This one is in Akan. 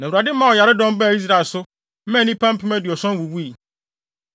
Na Awurade maa ɔyaredɔm baa Israel so, maa nnipa mpem aduɔson wuwui.